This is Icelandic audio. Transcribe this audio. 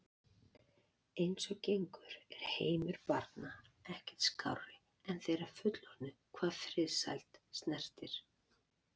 Eins og gengur er heimur barna ekkert skárri en þeirra fullorðnu hvað friðsæld snertir.